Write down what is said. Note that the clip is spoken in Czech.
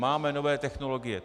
Máme nové technologie.